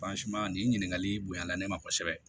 nin ɲininkali bonyala ne ma kosɛbɛ